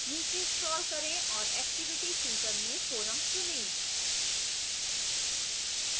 नीचे scroll करें और activity chooser में forum चुनें